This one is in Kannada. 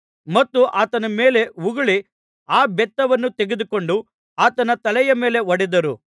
ಮತ್ತು ಆತನ ಮೇಲೆ ಉಗುಳಿ ಆ ಬೆತ್ತವನ್ನು ತೆಗೆದುಕೊಂಡು ಆತನ ತಲೆಯ ಮೇಲೆ ಹೊಡೆದರು